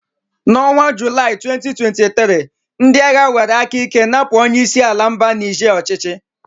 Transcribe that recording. N'ọnwa Julai 2023, ndị agha were aka ike napụ onye isi ala mba Nige ọchịchị.